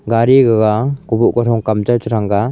gadi gaga kobhoh kamthrou chichanga.